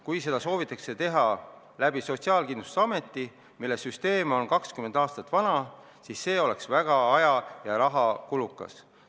Kui seda soovitakse teha läbi Sotsiaalkindlustusameti, mille süsteem on kakskümmend aastat vana, siis see oleks väga aja- ja rahakulukas.